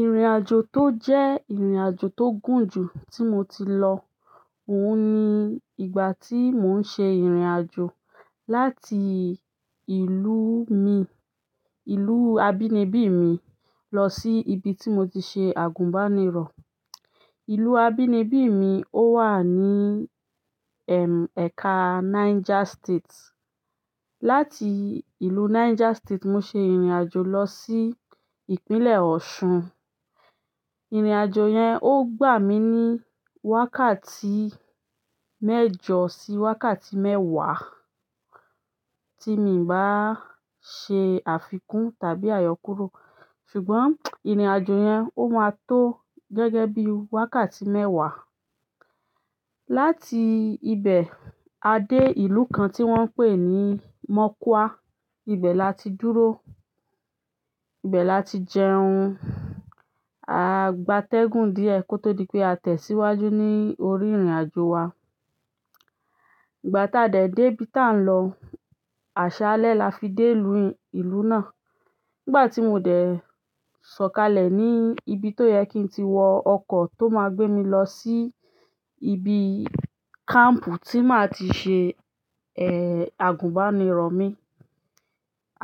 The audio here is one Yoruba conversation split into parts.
Ìrìnàjò tó jẹ́ ìrìnàjò tó gùn jù tí mo ti lọ, òun ni ìgbà tí mò ń ṣe ìrìnàjò láti ìlú mi, ìlú abínibí mi lọ sí ibi tí mo ti ṣe àgùnbánirọ̀. Ìlú abínibí mi ó wà ní, ẹm, ẹ̀ka Niger State. Láti ìlú Niger State, mo ṣe ìrìnàjò lọ sí Ìpínlẹ̀ Ọ̀ṣun. Ìrìnàjò yen o gba mi ni wákàtí mẹ́jọ si wákàtí mewa, ti mi i ba se àfikún tàbí ayokuro. Ṣùgbọ́n ìrìnàjò yẹn ó máa tó gẹ́gẹ́ bí wákàtí mẹ́wàá. Láti ibẹ̀ a dé ìlú kan tí wọ́n ń pè ní Mọ́kúá. Ibẹ̀ la ti dúró, ibẹ̀ la ti jẹun, a gbátẹ́gùn díẹ̀ kó tó di pé a tẹ̀síwájú ní orí ìrìnàjò wa. Ìgbà tí a dẹ̀ dé ibi tá ń lọ, àṣálẹ́ la fi dé ìlú ìlú náà. Nígbà tí mo dẹ̀ sọ̀kalẹ̀ ní ibi tó yẹ kí n ti wọ ọkọ̀ tó máa gbé mi lọ sí ibi káàmpù tí màá ti ṣe, ẹ́, àgùnbánirọ̀ mi.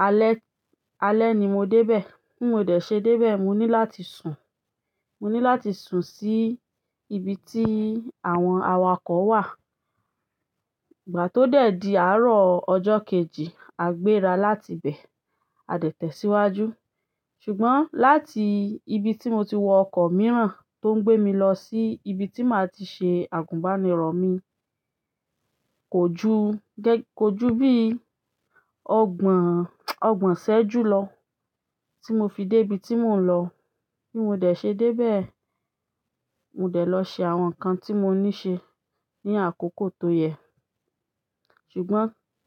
Alẹ́, alẹ́ ni mo dé bẹ̀. Tí mo dẹ̀ ṣe dé bẹ̀, mo ní láti sùn. Mo ní láti sùn sí ibi tí àwọn awakọ̀ wà. Ìgbà tó dẹ̀ di àárọ̀ ọjọ́ kejì a gbéra láti ibẹ̀, a dẹ̀ tẹ̀síwájú. Ṣùgbọ́n láti ibi tí mo ti wọ ọkọ̀ mìíràn tó ń gbé mi lọ sí ibi tí màá ti ṣe àgùnbánirọ̀ mi, kò ju, gẹ́ kò ju bí ọgbọ̀n, ọgbọ̀n sẹ́ẹ́jú lọ tí mo fi dé ibi tí mò ń lọ. Ní mo dẹ̀ ṣe dé bẹ̀, mo dẹ̀ lọ ṣe àwọn nǹkan tí mo ní ṣe ní àkókò tó yẹ. Ṣùgbọ́n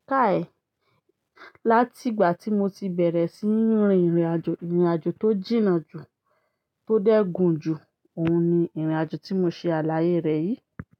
káàì, láti ìgbà tí mo ti bẹ̀rẹ̀ sí ní rin ìrìnàjò ìrìnàjò tó jìnnà jù, tó dẹ́gùn jù, òun ni ìrìnàjò tí mo ṣe àlàyé rẹ̀ yìí.